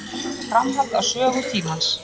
Bókin er framhald af Sögu tímans.